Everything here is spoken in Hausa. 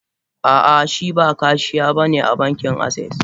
Ah ah Shiba Kashiya bane a bankin access.